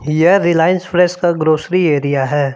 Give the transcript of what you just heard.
यह Reliance fresh का grocery area है।